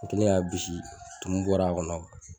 O kɛlen k'a bisi tumu bɔra a kɔnɔ